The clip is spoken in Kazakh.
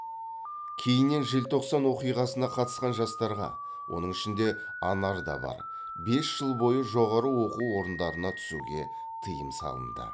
кейіннен желтоқсан оқиғасына қатысқан жастарға оның ішінде анар да бар бес жыл бойы жоғары оқу орындарына түсуге тыйым салынды